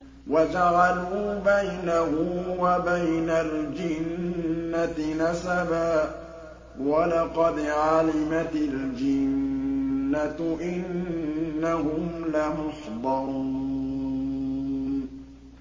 وَجَعَلُوا بَيْنَهُ وَبَيْنَ الْجِنَّةِ نَسَبًا ۚ وَلَقَدْ عَلِمَتِ الْجِنَّةُ إِنَّهُمْ لَمُحْضَرُونَ